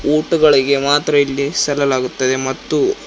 ಊಟಗಳಿಗೆ ಮಾತ್ರ ಇಲ್ಲಿ ಸೆಲಲಾಗುತ್ತದೆ ಮತ್ತು--